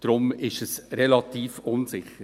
Deshalb ist es relativ unsicher.